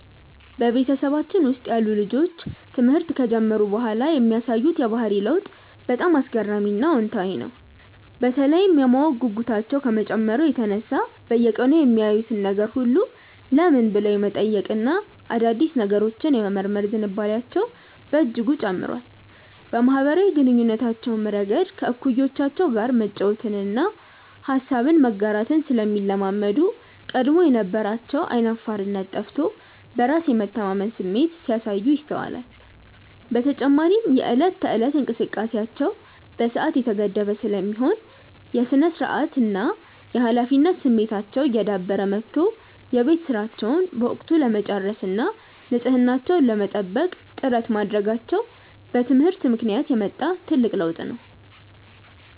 በቤተሰባችን ውስጥ ያሉ ልጆች ትምህርት ከጀመሩ በኋላ የሚያሳዩት የባህሪ ለውጥ በጣም አስገራሚና አዎንታዊ ነው፤ በተለይም የማወቅ ጉጉታቸው ከመጨመሩ የተነሳ በየቀኑ የሚያዩትን ነገር ሁሉ "ለምን?" ብለው የመጠየቅና አዳዲስ ነገሮችን የመመርመር ዝንባሌያቸው በእጅጉ ጨምሯል። በማኅበራዊ ግንኙነታቸውም ረገድ ከእኩዮቻቸው ጋር መጫወትንና ሐሳብን መጋራትን ስለሚለማመዱ፣ ቀድሞ የነበራቸው ዓይን አፋርነት ጠፍቶ በራስ የመተማመን ስሜት ሲያሳዩ ይስተዋላል። በተጨማሪም የዕለት ተዕለት እንቅስቃሴያቸው በሰዓት የተገደበ ስለሚሆን፣ የሥነ-ስርዓትና የኃላፊነት ስሜታቸው እየዳበረ መጥቶ የቤት ሥራቸውን በወቅቱ ለመጨረስና ንጽሕናቸውን ለመጠበቅ ጥረት ማድረጋቸው በትምህርት ምክንያት የመጣ ትልቅ ለውጥ ነው።